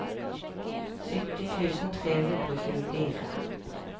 sytti tusen tre hundre og tjuefire